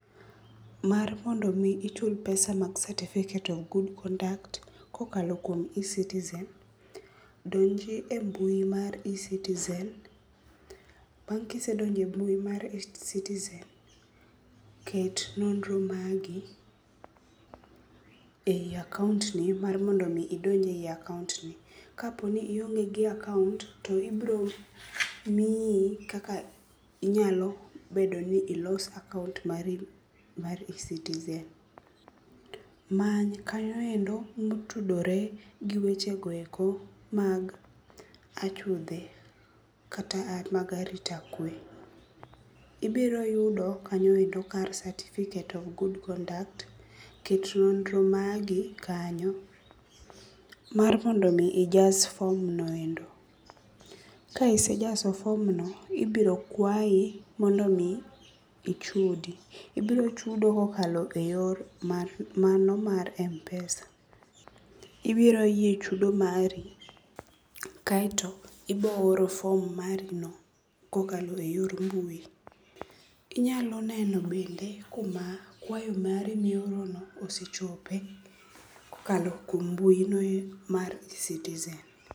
Mar mondo omi ichul pesa mag certificate of good conduct, kokalo kuom e-citizen, donji e mbui mar e-citizen, bang' kisedonje mbui mar e-citizen, ket nonro magi e akaont ni mar mondo omi idonj e akaont no. Kapo ni ionge gi akaont, to ibiro miyi kaka inyalo bedo ni ilos akaont mari mar e-citizen. Many kanyo endo motudore gi wechego eko mag achudhe kata mag arita kwe. Ibiro yudo kanyo endo ka certificate of good conduct. Ket nonro magi kanyo, mar mondo omi ijas form no endo. Ka isejaso form no, ibiro kwayi mondo ichud. Ibiro chudo kokalo e yor mano mar M-PESA. Ibiro yie chudo mari, kaeto ibooro form marino kokalo e yor mbui. Inyalo neno bende kuma kwayo mari miorono osechope kokalo kuom mbui no mar citizen.